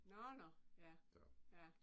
Nåh nåh ja ja